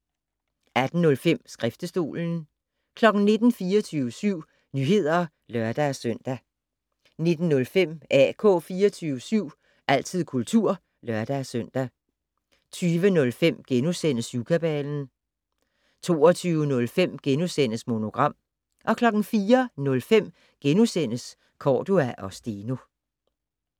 18:05: Skriftestolen 19:00: 24syv Nyheder (lør-søn) 19:05: AK 24syv - altid kultur (lør-søn) 20:05: Syvkabalen * 22:05: Monogram * 04:05: Cordua & Steno *